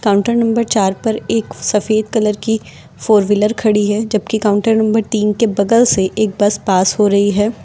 Counter number चार पर एक सफेद कलर की फोर व्हीलर खड़ी है जबकि काउंटर नंबर तीन के बगल से एक बस पास हो रही है।